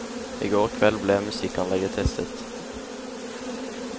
I går kveld ble musikkanlegget testet.